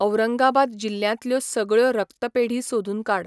औरंगाबाद जिल्ल्यांतल्यो सगळ्यो रक्तपेढी सोदून काड.